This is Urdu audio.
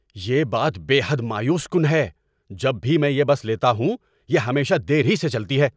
یہ بات بے حد مایوس کن ہے! جب بھی میں یہ بس لیتا ہوں، یہ ہمیشہ دیر ہی سے چلتی ہے۔